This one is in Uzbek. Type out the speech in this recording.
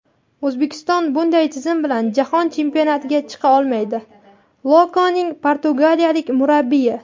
O‘zbekiston bunday tizim bilan Jahon chempionatiga chiqa olmaydi – "Loko"ning portugaliyalik murabbiyi.